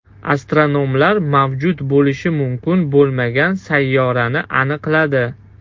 Astronomlar mavjud bo‘lishi mumkin bo‘lmagan sayyorani aniqladi.